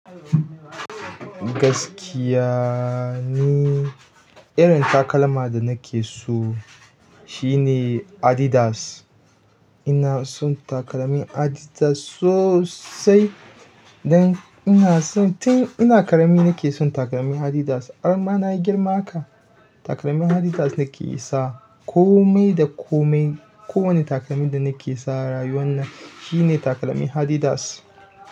Gaskiya ne, irin takalma da nake so shine Adidas. Ina son takalmin Adidas sosai don ina son tin ina ƙarami nake son takalmin Adidas. Har mana yi girma haka, takalmin Adidas nake sa. Komai da komai, kowane takalmin da nake sa rayuwa na shine takalmin Adidas.